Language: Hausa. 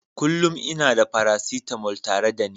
Kullum ina da paracetamol tare da ni.